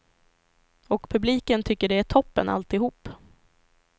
Och publiken tycker det är toppen alltihop.